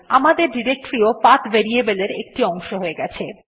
আমাদের ডিরেক্টরী ও path variable এর একটি অংশ হয়ে গেছে